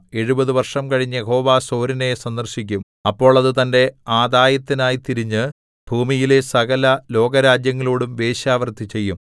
എഴുപത് വർഷം കഴിഞ്ഞ് യഹോവ സോരിനെ സന്ദർശിക്കും അപ്പോൾ അത് തന്റെ ആദായത്തിനായി തിരിഞ്ഞ് ഭൂമിയിലെ സകലലോകരാജ്യങ്ങളോടും വേശ്യാവൃത്തി ചെയ്യും